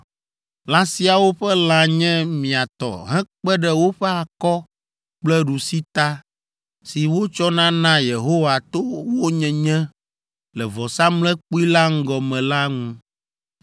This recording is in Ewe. Lã siawo ƒe lã nye mia tɔ hekpe ɖe woƒe akɔ kple ɖusita, si wotsɔna naa Yehowa to wo nyenye le vɔsamlekpui la ŋgɔ me la ŋu.